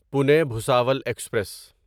Pune Bhusawal express